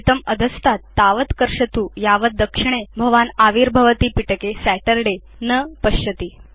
एतम् अधस्तात् तावत् कर्षतु यावत् दक्षिणे भवान् आविर्भवति पिटके सतुर्दय न पश्यति